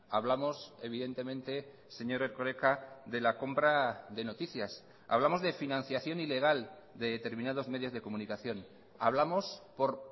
hablamos evidentemente señor erkoreka de la compra de noticias hablamos de financiación ilegal de determinados medios de comunicación hablamos por